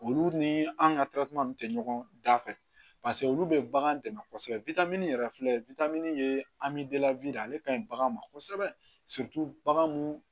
Olu ni an ka tɛ ɲɔgɔn da fɛ olu bɛ bagan dɛmɛ kosɛbɛ yɛrɛ filɛ ye anmidɛnw de ye ale ka ɲi bagan ma kosɛbɛ bagan mun